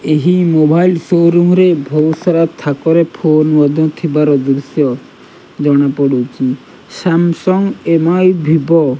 ଏହି mobile showroom ରେ ବହୁତ ସାରା ଥାକରେ ଫୋନ ମଧ୍ୟ ଥିବାର ଦୃଶ୍ୟ ଜଣାପଡୁଚି ସାମସଙ୍ଗ ଏମ_ଆଇ ଭିଭୋ ।